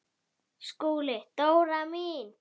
SKÚLI: Dóra mín!